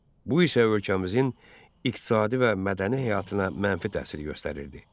Bu isə ölkəmizin iqtisadi və mədəni həyatına mənfi təsir göstərirdi.